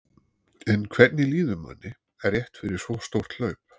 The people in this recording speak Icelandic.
En hvernig líður manni rétt fyrir svo stórt hlaup?